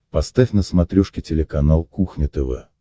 поставь на смотрешке телеканал кухня тв